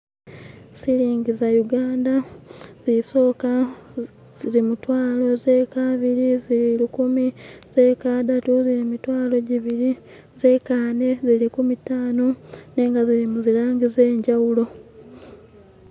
Silingi za uganda zisoka zili mutwalo zekabiri zili lukumi zekadatu zili mitwalo jibiri zekane zili kumitano nenga zili muzilangi zejawulo